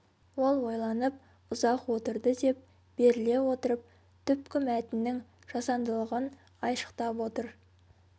ол ойланып ұзақ отырды деп беріле отырып түпкі мәтіннің жасандылығын айшықтап отыр